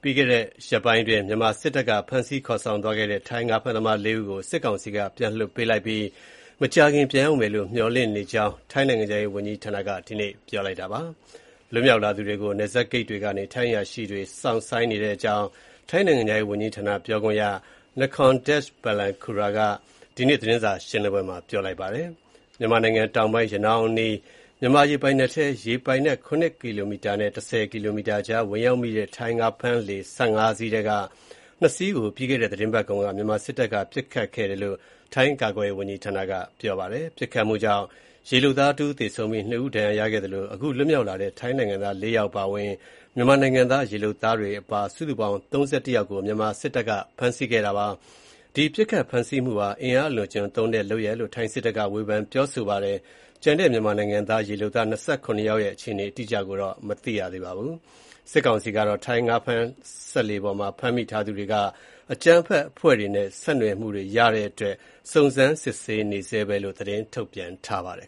ပြီးခဲ့တဲ့ ရက်ပိုင်းအတွင်း မြန်မာစစ်တပ်က ဖမ်းဆီးခေါ်ဆောင်သွားခဲ့တဲ့ ထိုင်းငါးဖမ်းသမား ၄ ယောက်ကို စစ်ကောင်စီက ပြန်လွှတ်ပေးလိုက်တဲ့အကြောင်းနဲ့ မကြာခင် ပြန်ရောက်မယ်လို့ မျှော်လင့်တဲ့အကြောင်း ထိုင်းနိုင်ငံခြားရေးဝန်ကြီးဌာနက ဒီနေ့ ပြောဆိုပါတယ်။ လွတ်မြောက်လာသူတွေကို ပြန်လက်ခံဖို့ နယ်စပ်ဂိတ်တွေကနေ ထိုင်းအရာရှိတွေ စောင့်ဆိုင်းနေတဲ့အကြောင်း ထိုင်း နိုင်ငံခြားရေးဝန်ကြီးဌာန ပြောခွင့်ရ Nikorndej Balankura က ဒီနေ့ သတင်းစာရှင်းလင်းပွဲမှာ ပြောဆိုပါတယ်။ မြန်မာနိုင်ငံတောင်ပိုင်း ရနောင်း အနီး မြန်မာ ရေပိုင်နက်ထဲ ရေပိုင်နက် ၇ ကီလိုမီတာနဲ့ ၁၀ ကီလိုမီတာကြား ဝင်ရောက်မိတဲ့ ထိုင်း ငါးဖမ်းလှေ ၁၅ စီးထဲက ၂ စီးကို ပြီးခဲ့တဲ့ သတင်းပတ်ကုန်က မြန်မာစစ်တပ်က ပစ်ခတ်ခဲ့တယ်လို့ ထိုင်း ကာကွယ်ရေးဝန်ကြီးဌာနက ပြောပါတယ်။ ပစ်ခတ်မှုကြောင့် ရေလုပ်သား တဦး သေဆုံးပြီး ၂ ဦးဒဏ်ရာရခဲ့သလို အခု လွှတ်မြောက်လာတဲ့ ထိုင်းနိုင်ငံသား ၄ ယောက်အပါအဝင် မြန်မာနိုင်ငံသား ရေလုပ်သားတွေ အပါ စုစုပေါင်း ၃၁ ယောက်ကို မြန်မာစစ်တပ်က ဖမ်းဆီးခဲ့တာပါ။ ဒီပစ်ခတ်ဖမ်းဆီးမှုဟာ အင်အားအလွန်အကျွံသုံးတဲ့ လုပ်ရပ်လို့ ထိုင်းစစ်တပ်က ဝေဖန်ပြောဆိုပါတယ်။ ကျန်တဲ့ မြန်မာနိုင်ငံသား ရေလုပ်သား ၂၇ ယောက်ရဲ့ အခြေအနေ အတိအကျကိုတော့ မသိရသေးပါဘူး။ စစ်ကောင်စီကတော့ ထိုင်းငါးဖမ်းစက်လှေပေါ်က ဖမ်းမိသူထားသူတွေမှာ အကြမ်းဖက်အဖွဲ့တွေနဲ့ ဆက်နွယ်မှုတွေ့ရတဲ့အတွက် စုံစမ်းစစ်ဆေးနေဆဲပဲလို့ သတင်းထုတ်ပြန်ပါတယ်